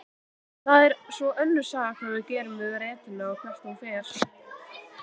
Það er svo önnur saga hvað við gerum við rentuna og hvert hún fer.